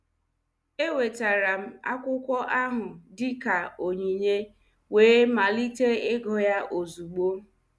Enwetara m akwụkwọ ahụ dị ka onyinye wee malite ịgụ ya ozugbo.